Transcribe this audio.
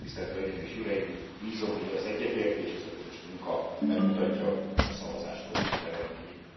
Tisztelt hölgyeim és uraim, bízom benne, hogy ez az egyetértés, ez a közös munka megmutatja a szavazáskor is az eredményét.